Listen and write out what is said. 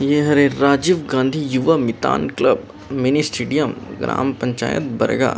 ये हरे राजीव गाँधी युवा मितान क्लब मिनी स्टेडियम ग्राम पंचायत बर्गा